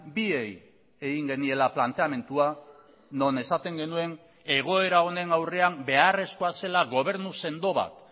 biei egin geniela planteamendua non esaten genuen egoera honen aurrean beharrezkoa zela gobernu sendo bat